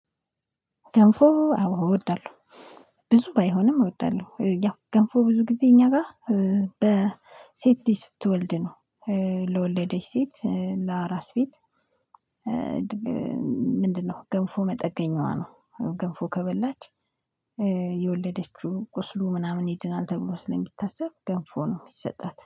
ገንፎ አው እወዳለሁ ብዙ ባይሆንም እወዳለሁ ያው ገንፎ ብዙ ጊዜ እኛ ጋር በሴት ልጅ ስትወልድ ነው ለወለደች ሴት ለአራስ ቤት። ምንድነው ገንፎ መጠገኛዋ ነው። ገንፎ ከበላች የወለደችው ቁስሉ ምናምን ይድናል ተብሎ ስለሚታሰብ ገንፎ ነው የሚሰጣት